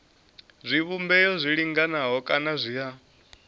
zwivhumbeo zwi linganaho kana zwa